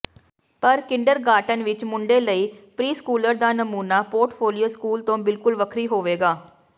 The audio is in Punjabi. ਪਰ ਕਿੰਡਰਗਾਰਟਨ ਵਿਚ ਮੁੰਡੇ ਲਈ ਪ੍ਰੀਸਕੂਲਰ ਦਾ ਨਮੂਨਾ ਪੋਰਟਫੋਲੀਓ ਸਕੂਲ ਤੋਂ ਬਿਲਕੁਲ ਵੱਖਰੀ ਹੋਵੇਗਾ